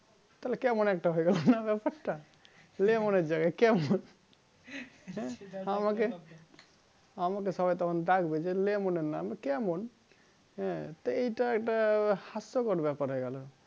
তাহলে কেমন একটা হয়ে গেলো না ব্যাপারটা লেমনের জায়গায় কেমন হ্যাঁ আমাকে আমাকে সবাই তখন ডাকবে যে লেমনের নাম কেমন হ্যাঁ তা এটা একটা হাস্যকর ব্যাপার হয়ে গেলো